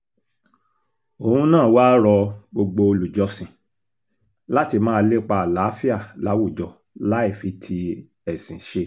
òun náà wàá rọ gbogbo olùjọ́sìn láti máa lépa àlàáfíà láwùjọ láì fi ti ẹ̀sìn ṣe